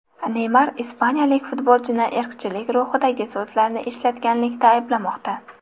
Neymar ispaniyalik futbolchini irqchilik ruhidagi so‘zlarni ishlatganlikda ayblamoqda.